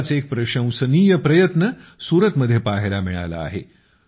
असाच एक प्रशंसनीय प्रयत्न सूरतमध्ये पहायला मिळाला आहे